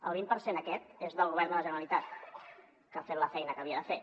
el vint per cent aquest és del govern de la generalitat que ha fet la feina que havia de fer